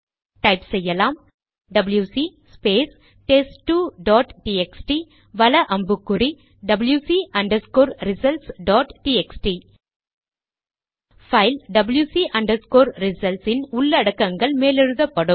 type அடிக்கலாம் WC space test two dot TXT வல அம்புக்குறிடபில்யுசி results dot TXT file WC results இன் உள்ளடக்கங்கள் மேலெழுதப்படும்